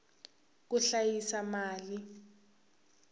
ku hlayisa mali